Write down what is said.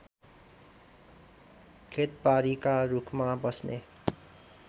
खेतबारीका रूखमा बस्ने